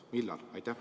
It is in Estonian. Millal?